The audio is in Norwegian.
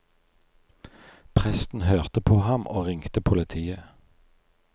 Presten hørte på ham og ringte politiet.